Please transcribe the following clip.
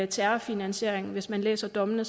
terrorfinansiering hvis man læser dommene